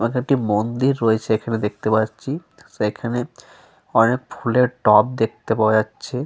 এবং একটি মন্দির রয়েছে এখানে দেখতে পাচ্ছি। সেখানে অনেক ফুলের টব দেখতে পাওয়া যাচ্ছে।